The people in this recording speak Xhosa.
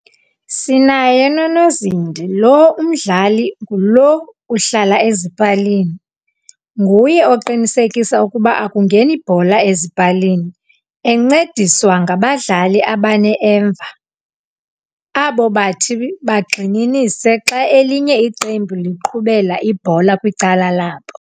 Sinaye nonozindi lo umdlali ngulo uhlala ezipalini, nguye oqinisekisa ukuba akungeni bhola ezipalini. Encediswa ngabadlali abane emva, abobathi bangxininise xa elinye iqembu liqhubela ibhola kwicala labo.